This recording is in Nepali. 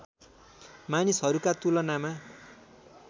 मानिसहरूका तुलनामा